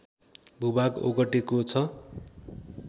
भूभाग ओगटेको छ